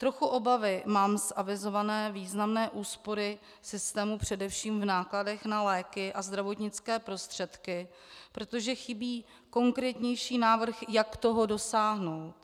Trochu obavy mám z avizované významné úspory systému především v nákladech na léky a zdravotnické prostředky, protože chybí konkrétnější návrh, jak toho dosáhnout.